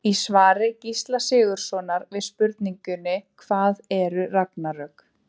Í svari Gísla Sigurðssonar við spurningunni Hvað eru ragnarök?